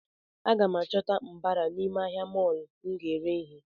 A gam chọta mbara n’ime ahịa molọ m ga ere ihe